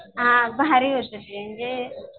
हां भारी होतं ते म्हणजे